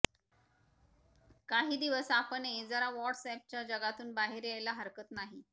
काही दिवस आपणही जरा व्हॉट्सअॅपच्या जगातून बाहेर यायला हरकत नाही